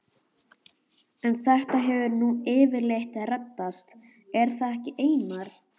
En þetta hefur nú yfirleitt reddast, er það ekki Einar?